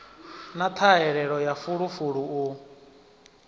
na ṱhahelelo ya fulufulu u